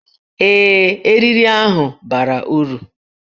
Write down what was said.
Ee, eriri ahụ bara uru